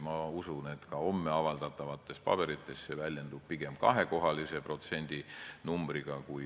Ma usun, et homme avaldatavates paberites väljendub see pigem kahekohalise kui ühekohalise protsendinumbrina.